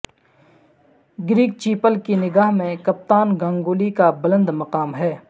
Greg Chappell کی نگاہ میں کپتان گنگولی کا بلند مقام ہے